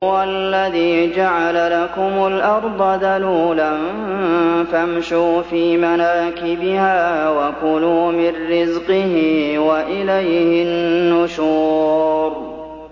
هُوَ الَّذِي جَعَلَ لَكُمُ الْأَرْضَ ذَلُولًا فَامْشُوا فِي مَنَاكِبِهَا وَكُلُوا مِن رِّزْقِهِ ۖ وَإِلَيْهِ النُّشُورُ